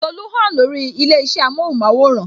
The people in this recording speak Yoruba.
Tolu hàn lórí ilé isẹ amohun maworan